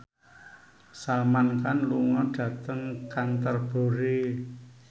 Salman Khan lunga dhateng Canterbury